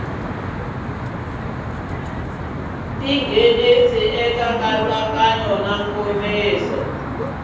ti nghenisa eka nkatsakanyo nkomiso